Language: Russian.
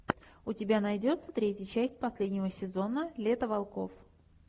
у тебя найдется третья часть последнего сезона лето волков